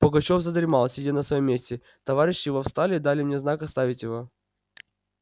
пугачёв задремал сидя на своём месте товарищи его встали и дали мне знак оставить его